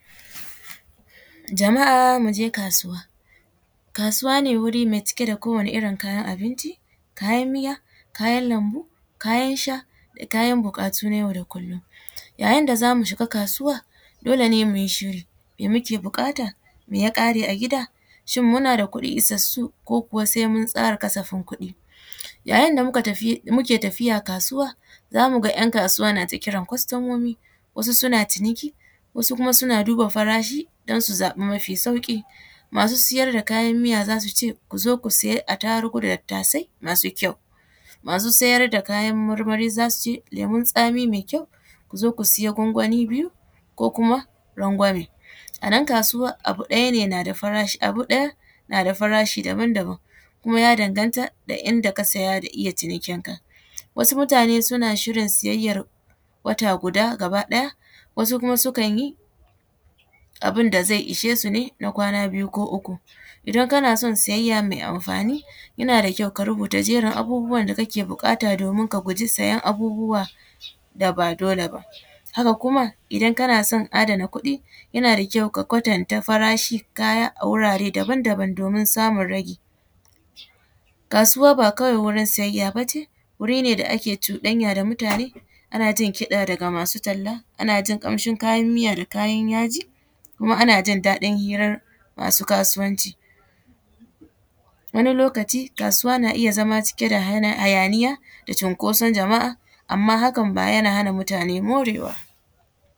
Jama’a muje kasuwa, kasuwa ne wuri ne mai cike da kowane irin kayan abinci kayan miya, kayan lambu, kayan sha, kayan bukatu nay au da kullum, yayin da zamu shiga kasuwa dole ne muyi shiri mai muke bukata, mai yak are a gida shin muna da kuɗi isassu ko sai mun tsara kasafin kuɗi, yayin da muke tafiya kasuwa zamu ga ‘yan kasuwa na ta kiran kostomomi wasu suna ciniki wasu suna duba farashi don su zaɓi mafi sauki, masu siyar da kayan miya zasu ce kuzo ku saya attarugu da tattasai masu kyau, masu siyar da kayan marmari zasu ce lemun tsami mai kyau kuzo ku siya gwangwani biyu ko rangwame anan kasuwan abu ɗaya ne nada farashi abu ɗaya na da farashi daban-daban kuma ya danganta da inda ka siya da iya cinikin ka wasu mutane suna shirin siyayyan wata guda gaba ɗaya wasu sukan yi abun da zai ishesu na kwana biyu ko uku idan kana son siyayya mai amfani yana da kyau ka rubuta jerin abubuwan da kake bukata domin ka guji siyan abubuwa da ba dole ba, haka kuma idan kana son adana kuɗi yana da kyau ka kwatanta farashin kaya a wurare daban-daban domin samun ragi, kasuwa ba wai kawai wurin siyayya ba ce wuri ne da ake cuɗanya da mutane ana jin kiɗa daga masu talla ana jin kamshin kayan miya da kayan yaji, kuma ana jin daɗin hairar masu kasuwanci, wani lokaci kasuwa na iya kasancewa cike da hayaniya da cunkoson jama’a amma hakan ba yana hana mutane morewa.